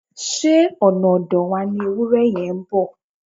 Ṣé ọ̀nà ọ̀dọ̀ wa ni ewúrẹ yẹn ń bọ̀?